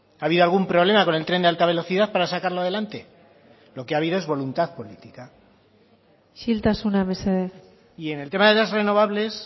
ha habido algún problema con el tren de alta velocidad para sacarlo adelante lo que ha habido es voluntad política isiltasuna mesedez y en el tema de las renovables